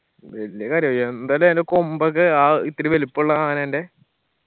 വെല്യ കാര്യം എന്തായാലു അയിന്റെ കൊമ്പൊക്കെ ആ ഇത്തിരി വെല്പ്പുള്ള ആനന്റെ